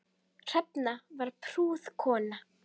Hrefna var prúð kona.